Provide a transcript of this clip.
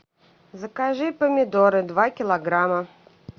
закажи помидоры два килограмма